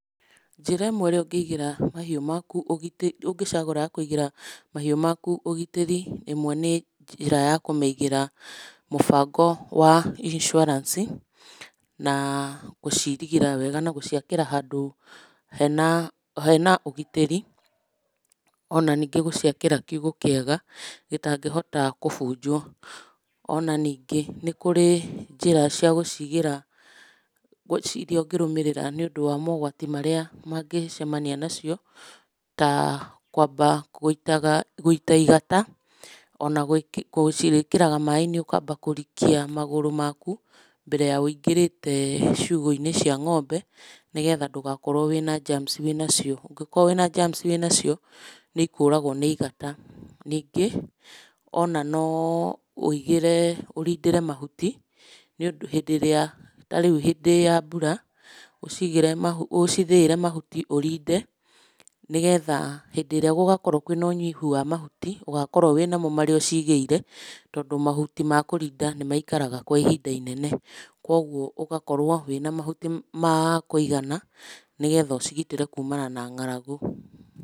Njĩra ĩmwe ĩrĩa ũngĩcagũra kũigĩra mahiũ maku ũgitĩri ĩmwe nĩ njĩra ya kũmaigĩra mũbango wa insuarance na gũcirigĩra wega na gũciakĩra handũ hena ũgitĩri, ona ningĩ gũciakĩra kiugũ kĩega gĩtangĩhota kũbunjwo. Ona ningĩ nĩ kũrĩ njĩra cia gũcigĩra iria ũngĩ rũmĩrĩra nĩ ũndũ wa mogwati marĩa mangĩcemania nacio ta kwamba gũita igata ona gũciĩkĩraga maaĩ-inĩ ũkamba kũrikia magũrũ maku, mbere ya wũingĩrĩte ciugũ-inĩ cia ng'ombe nĩ getha ndũgakorwo wçĩna germs wĩnacio. Ũngĩkorwo wĩna germs wĩnacio nĩ ikũragwo nĩ igata ningĩ ona no wũigire ũrindĩre mahuti hĩndĩ ĩrĩa tarĩu hĩndĩ ya mbura ũcithĩĩre mahuti ũrinde nĩ getha hĩndĩ ĩrĩa gũgakorwo kwçĩna ũnyihu wa mahuti ũgakorwo wĩnamo marĩa ũcigĩire. Tondũ mahuti ma kũrinda nĩ maikaraga kwa ihinda inene, koguo ũgakorwo wĩna mahuti ma kũigana nĩ getha ũcigitĩre kumana na ng'aragu.